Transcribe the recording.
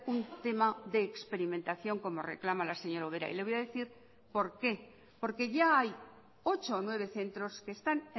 un tema de experimentación como reclama la señora ubera y le voy a decir por qué porque ya hay ocho o nueve centros que están